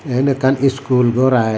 eyen ekkan school gor i.